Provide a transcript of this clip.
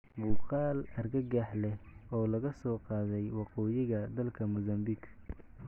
Muuqaal argagax leh oo laga soo qaaday Waqooyiga dalka Mozambique